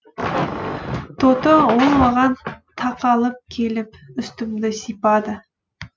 тоты ол маған тақалып келіп үстімді сипады